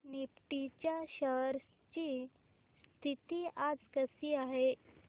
Nifty च्या shares ची स्थिती आज कशी आहे